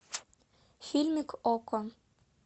фильмик окко